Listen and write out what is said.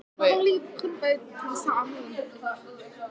Svo ekkert fari úrskeiðis síðar bætti hann við.